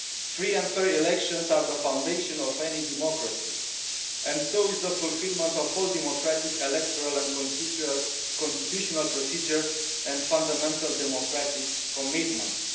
Free and fair elections are the foundation of any democracy and so is the fulfilment of all democratic electoral and constitutional procedures and fundamental democratic commitments.